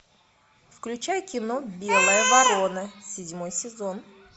включай кино белая ворона седьмой сезон